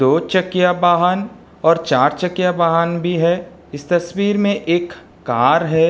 दो चकया बाहन और चार चकया बाहन भी है। इस तस्वीर में एक कार है।